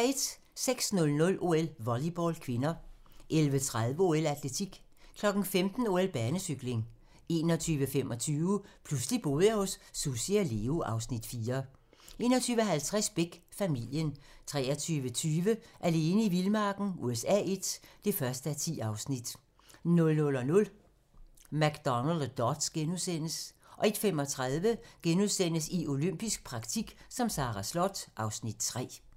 06:00: OL: Volleyball (k) 11:30: OL: Atletik 15:00: OL: Banecykling 21:25: Pludselig boede jeg hos Sussi og Leo (Afs. 4) 21:50: Beck: Familien 23:20: Alene i vildmarken USA I (1:10) 00:00: McDonald og Dodds * 01:35: I olympisk praktik som Sara Slott (Afs. 3)*